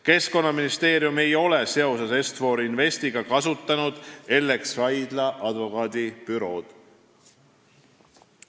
Keskkonnaministeerium ei ole seoses Est-For Investiga kasutanud Ellex Raidla advokaadibürood.